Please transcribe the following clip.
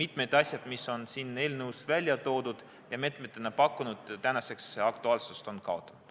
mitmed asjad, mis on siin eelnõus välja toodud ja meetmetena pakutud, on tänaseks aktuaalsuse kaotanud.